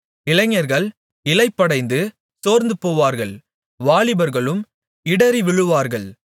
இளைஞர்கள் இளைப்படைந்து சோர்ந்துபோவார்கள் வாலிபர்களும் இடறிவிழுவார்கள்